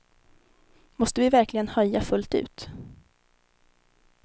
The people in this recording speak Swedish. Måste vi verkligen höja fullt ut?